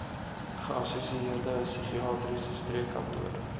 geassosieerde psigiatriese streekkantoor